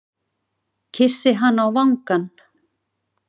Kyssi hana á vangann.